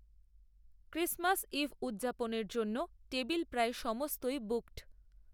Christmas eve উদযাপনের জন্য table প্রায় সমস্তই বুকড